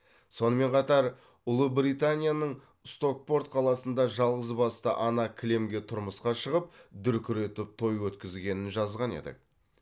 сонымен қатар ұлыбританияның стокпорт қаласында жалғызбасты ана кілемге тұрмысқа шығып дүркіретіп той өткізгенін жазған едік